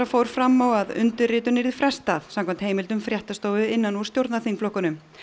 fór fram á að undirritun yrði frestað samkvæmt heimldum fréttastofu innan úr stjórnarþingflokkunum